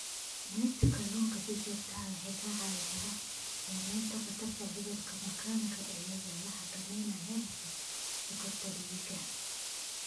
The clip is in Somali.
Cunista kalluunka si joogto ah waxay kaa caawinaysaa yaraynta khatarta cudurka macaanka iyadoo la xakameynayo heerarka sonkorta dhiigga.